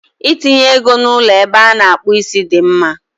Itinye ego na ụlọ ebe a na-akpụ isi dị mma.